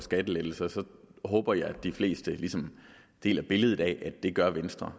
skattelettelser så håber jeg de fleste ligesom deler billedet af at det gør venstre